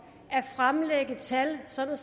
at fremlægge tal sådan